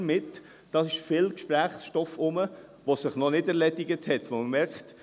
Hier gibt es viel Gesprächsstoff, der sich noch nicht erledigt hat und bei dem man merkt: